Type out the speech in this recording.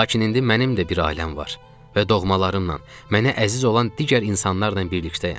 Lakin indi mənim də bir ailəm var və doğmalarınla mənə əziz olan digər insanlarla birlikdəyəm.